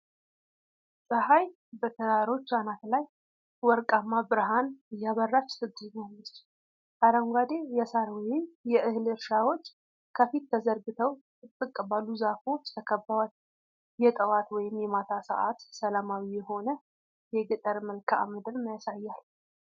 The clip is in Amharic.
ፀሐይ በተራሮች አናት ላይ ወርቃማ ብርሃን እያበራች ትገኛለች። አረንጓዴ የሳር ወይም የእህል እርሻዎች ከፊት ተዘርግተው ጥቅጥቅ ባሉ ዛፎች ተከበዋል። የጠዋት ወይም የማታ ሰዓት ሰላማዊ የሆነ የገጠር መልክዓ ምድር ያሳያል።